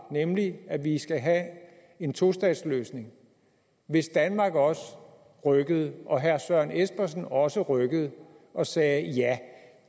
nemlig at de skal have en tostatsløsning hvis danmark også rykkede og herre søren espersen også rykkede og sagde ja